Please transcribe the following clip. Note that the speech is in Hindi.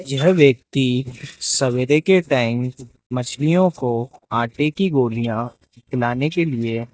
यह व्यक्ति सवेरे के टाइम मछलियों को आटे की गोलियां खिलाने के लिए --